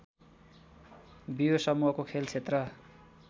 बियो समूहको खेलक्षेत्र